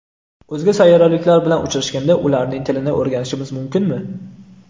O‘zga sayyoraliklar bilan uchrashganda ularning tilini o‘rganishimiz mumkinmi?